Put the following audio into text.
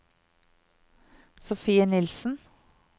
Sofie Nielsen